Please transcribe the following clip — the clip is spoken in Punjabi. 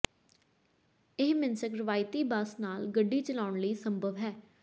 ਇਹ ਮਿਨ੍ਸ੍ਕ ਰਵਾਇਤੀ ਬੱਸ ਨਾਲ ਗੱਡੀ ਚਲਾਉਣ ਲਈ ਸੰਭਵ ਹੈ